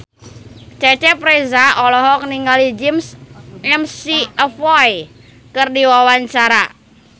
Cecep Reza olohok ningali James McAvoy keur diwawancara